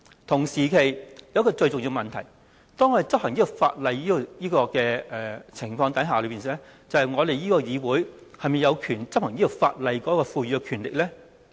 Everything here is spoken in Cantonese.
同時，另一個最重要的問題是，在執行這兩項法例方面，究竟立法會是否有權力執行該等法例呢？